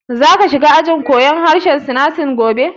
Ka za shiga ajin koyan harshen Sinanci gobe?